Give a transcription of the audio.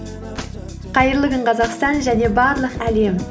қайырлы күн қазақстан және барлық әлем